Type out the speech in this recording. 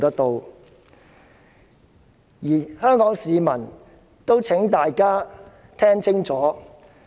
我亦請香港市民聽清楚。